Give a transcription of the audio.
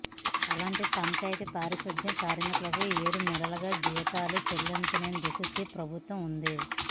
అలాంటి పంచాయతీ పారిశుధ్య కార్మికులకు ఏడు నెలలుగా జీతాలు చెల్లించలేని దుస్థితిలో ప్రభుత్వం ఉంది